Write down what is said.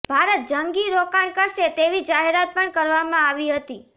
ભારત જંગી રોકાણ કરશે તેવી જાહેરાત પણ કરવામાં આવી હતી